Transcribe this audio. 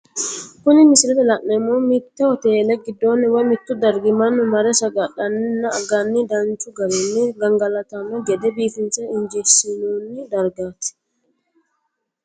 Kuni misilete la'neemohu Mite hotele gidooni woyi mitto dariga manu mare saga'laninna aganni danchu garinni gangalatano gede biifinse injeesinonni darigati